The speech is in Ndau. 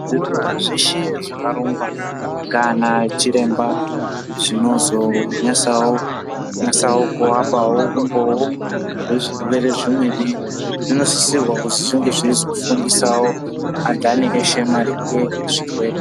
Zvirongwa zveshe zvakarongwa nganachiremba zvinozonyasawo kuvapawo umboo hwezvirwere zvimweni zvinosisirwa kuti zvinge zveizofundisawo anthani veshe maringe nezvirwere.